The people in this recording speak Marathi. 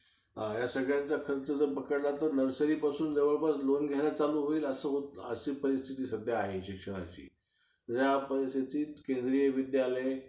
हम्म तिला काय माहित आता bank मध्ये पण किती tension असतं, हे करा ते करा.